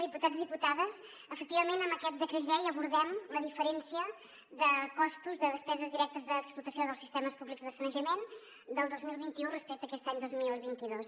diputats diputades efectivament amb aquest decret llei abordem la diferència de costos de despeses directes d’explotació dels sistemes públics de sanejament del dos mil vint u respecte a aquest any dos mil vint dos